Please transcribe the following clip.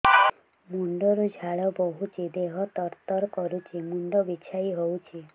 ମୁଣ୍ଡ ରୁ ଝାଳ ବହୁଛି ଦେହ ତର ତର କରୁଛି ମୁଣ୍ଡ ବିଞ୍ଛାଇ ହଉଛି